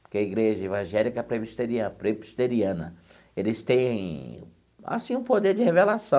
Porque a igreja evangélica presbiteriana presbiteriana, eles têm assim um poder de revelação.